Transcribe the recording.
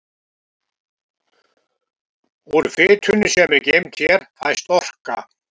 Úr fitunni sem er geymd hér fæst orka.